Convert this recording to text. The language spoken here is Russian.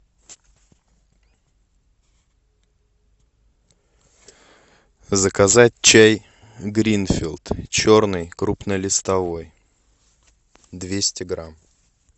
заказать чай гринфилд черный крупнолистовой двести грамм